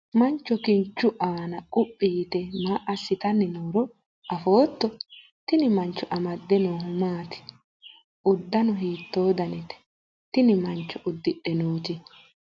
mancho kinchu aana quphi yite maa assitanni nooro afootto? tini mancho amadde noohu maati? uddano hiittoo danite tini mancho uddidhe nooti?